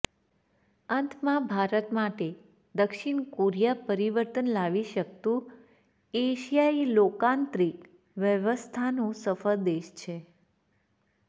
અંતમાં ભારત માટે દક્ષિણ કોરિયા પરિવર્તન લાવી શકતું એશિયાઈ લોકતાંત્રિક વ્યવસ્થાનો સફળ દેશ છે